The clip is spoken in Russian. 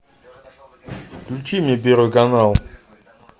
включи мне первый канал